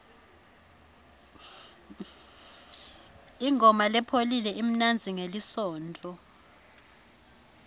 ingoma lepholile imnanzi ngelisontfo